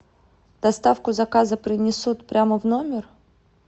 доставку заказа принесут прямо в номер